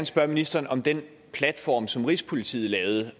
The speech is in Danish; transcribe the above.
spørge ministeren om den platform som rigspolitiet lavede